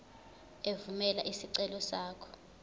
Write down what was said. evumela isicelo sakho